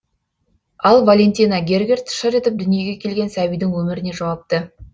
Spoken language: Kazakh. ал валентина гергерт шыр етіп дүниеге келген сәбидің өміріне жауапты